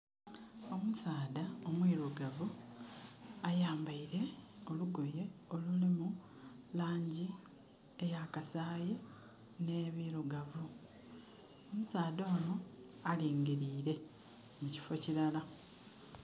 Omusaadha omwirugavu ayambaire olugoye olulimu langi eya kasayi ne birugavu. Omusaadha ono alingirire ekifo kirala